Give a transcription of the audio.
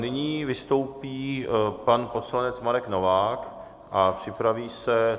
Nyní vystoupí pan poslanec Marek Novák a připraví se...